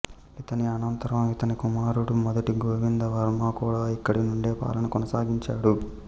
ఇతని అనంతరం ఇతని కుమారుడు మొదటి గోవిందవర్మ కూడా ఇక్కడి నుండే పాలన కొనసాగించాడు